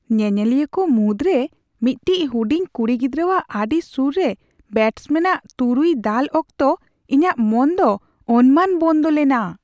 ᱧᱮᱧᱮᱞᱤᱭᱟᱹ ᱠᱚ ᱢᱩᱫᱨᱮ ᱢᱤᱫᱴᱤᱡ ᱦᱩᱰᱤᱝ ᱠᱩᱲᱤ ᱜᱤᱫᱽᱨᱟᱹᱨᱟᱣᱟᱜ ᱟᱰᱤ ᱥᱩᱨ ᱨᱮ ᱵᱮᱴᱥᱢᱮᱱ ᱟᱜ ᱛᱩᱨᱩᱭ ᱫᱟᱞ ᱚᱠᱛᱚ ᱤᱧᱟᱹᱜ ᱢᱚᱱ ᱫᱚ ᱚᱱᱢᱟᱱ ᱵᱚᱱᱫᱚ ᱞᱮᱱᱟ ᱾